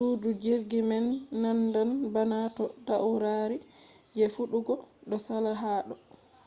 sudu jirgi man nandan bana to taurari je fidugo do sala ha do